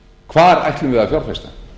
hvar ætlum við að fjárfesta